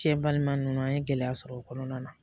Cɛ balima ninnu an ye gɛlɛya sɔrɔ o kɔnɔna na